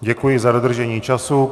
Děkuji za dodržení času.